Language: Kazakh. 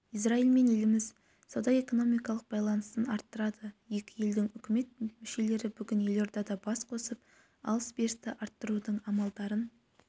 израильмен еліміз сауда-экономикалық байланысын арттырады екі елдің үкімет мүшелері бүгін елордада бас қосып алыс-берісті арттырудың амалдарын